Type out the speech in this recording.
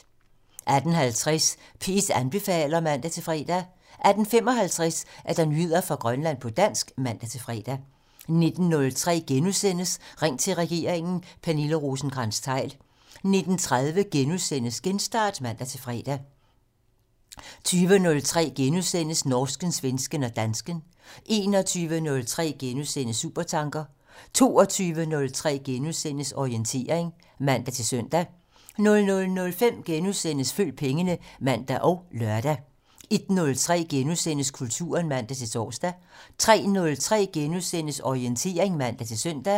18:50: P1 anbefaler (man-fre) 18:55: Nyheder fra Grønland på dansk (man-fre) 19:03: Ring til regeringen: Pernille Rosenkrantz-Theil * 19:30: Genstart *(man-fre) 20:03: Norsken, svensken og dansken *(man) 21:03: Supertanker *(man) 22:03: Orientering *(man-søn) 00:05: Følg pengene *(man og lør) 01:03: Kulturen *(man-tor) 03:03: Orientering *(man-søn)